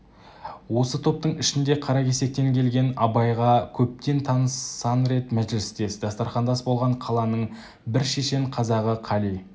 осы топтың ішінде қаракесектен келген абайға көптен таныс сан рет мәжілістес дастарқандас болған қаланың бір шешен қазағы қали